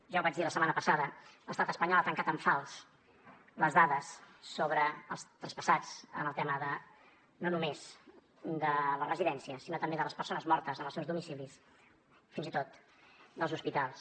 ja ho vaig dir la setmana passada l’estat espanyol ha tancat en fals les dades sobre els traspassats en el tema no només de les residències sinó també de les persones mortes en els seus domicilis fins i tot dels hospitals